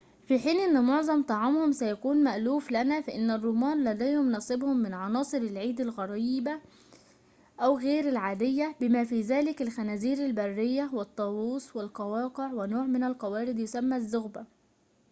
في حين أن معظم طعامهم سيكون مألوفًا لنا فإن الرومان لديهم نصيبهم من عناصر العيد الغريبة أو غير العادية بما في ذلك الخنازير البرية والطاووس والقواقع ونوع من القوارض يسمى الزغبة